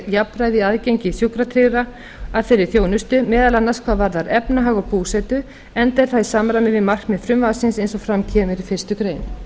í aðgengi sjúkratryggðra að þeirri þjónustu meðal annars hvað varðar efnahag og búsetu enda er það í samræmi við markmið frumvarpsins eins og fram kemur í fyrstu grein